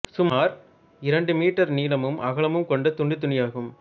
சுமார் இரண்டு மீட்டர் நீளமும் அகலமும் கொண்ட துண்டுத் துணியாகும்